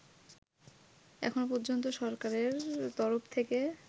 এখনো পর্যন্ত সরকারের তরফ থেকে